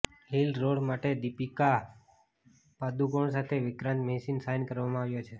lead role માટે દીપિકા પાદુકોણ સાથે વિક્રાંત મેસીને સાઈન કરવામાં આવ્યો છે